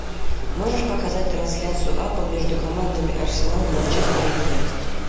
можешь показать трансляцию апл между командами арсенал манчестер юнайтед